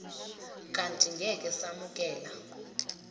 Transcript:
kanti ngeke samukela